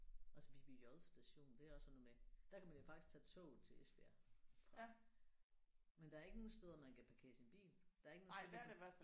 Også Viby J station det er også sådan noget med der kan man jo faktisk tage toget til Esbjerg fra men der er ikke nogen steder man kan parkere sin bil der er ikke nogen steder man kan